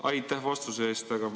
Aitäh vastuse eest!